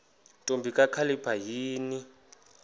ntombi kakhalipha yini